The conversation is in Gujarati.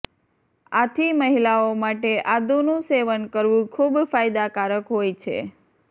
આથી મહિલાઓ માટે આદુનું સેવન કરવું ખુબ ફાયદાકારક હોય છે